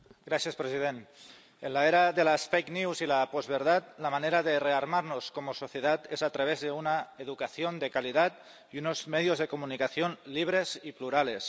Señor presidente. En la era de las y la posverdad, la manera de rearmarnos como sociedad es a través de una educación de calidad y unos medios de comunicación libres y plurales.